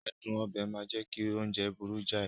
Adun obe máa ń jẹ́ kí oúnjẹ burú jáì